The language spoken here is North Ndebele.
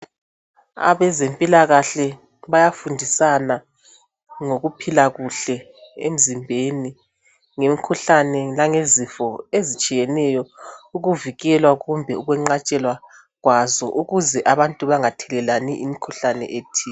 Abezempilakahle bayafundisana ngokuphila kuhle emzimbeni, ngemkhuhlane langezifo ezitshiyeneyo, ukuvikelwa kumbe ukwenqatshelwa kwazo ukuze abantu bangathelelani imikhuhlane ethile.